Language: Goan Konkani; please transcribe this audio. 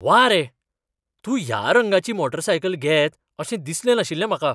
व्वा रे! तूं ह्या रंगाची मोटारसायकले घेत अशें दिसलें नाशिल्लें म्हाका.